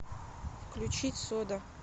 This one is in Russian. включить сода